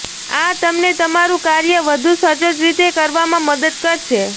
આ તમને તમારું કાર્ય વધુ સચોટ રીતે કરવામાં મદદ કરશે